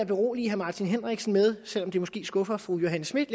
berolige herre martin henriksen med selv om det måske skuffer fru johanne schmidt